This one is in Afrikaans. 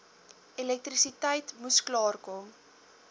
elektrisiteit moes klaarkom